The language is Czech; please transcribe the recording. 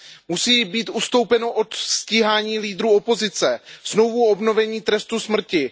Musí být ustoupeno od stíhání lídrů opozice, znovuobnovení trestu smrti.